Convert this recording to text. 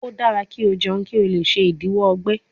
O dara ki o jẹun ki o le ṣe idiwọ ọgbẹ